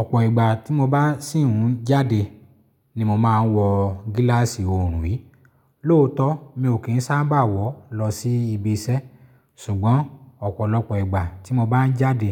Ọ̀pọ̀ ìgbà tí mo bá sì ń jáde ni mo máa ń wọ gíláàsì òòrùn yìí. Lóòótọ́, mi ò kí ń sábà wọ̀ lọ sí ibi iṣẹ́, ṣùgbọ́n ọ̀pọ̀lọpọ̀ ìgbà tí mo bá ń jáde,